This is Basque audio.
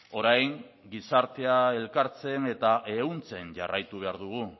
orain gizartea elkartzen eta ehuntzen jarraitu behar dugu